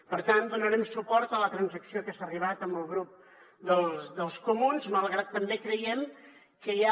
per tant donarem suport a la transacció a què s’ha arribat amb el grup dels comuns malgrat que també creiem que hi ha